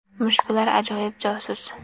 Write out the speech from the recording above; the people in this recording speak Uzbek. Mushuklar ajoyib josus.